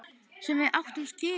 Sem við áttum skilið.